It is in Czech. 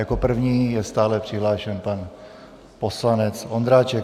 Jako první je stále přihlášen pan poslanec Ondráček.